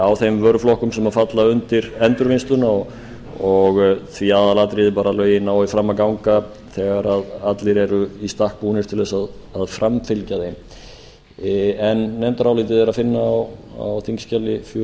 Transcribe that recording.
á þeim vöruflokkum sem falla undir endurvinnsluna og því aðalatriðið að lögin nái fram að ganga þegar allir eru í stakk búnir til að framfylgja þeim nefndarálitið er að finna á þingskjali fjörutíu og